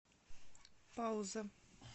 пауза